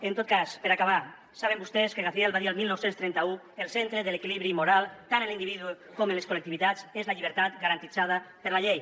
en tot cas per acabar saben vostès que gaziel va dir el dinou trenta u el centre de l’equilibri moral tant en l’individu com en les col·lectivitats és la llibertat garantida per la llei